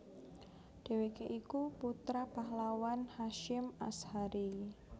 Dheweke iku putra pahlawan Hasyim Ashari